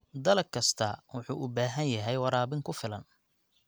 Dalag kastaa wuxuu u baahan yahay waraabin ku filan.